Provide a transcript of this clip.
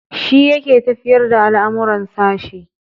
Shi yake tafiyar da al'amuran sashe.